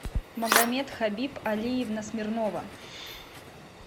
магомед хабиб алиевна смирнова